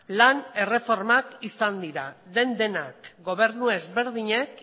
lan erreformak izan dira den denak gobernu ezberdinek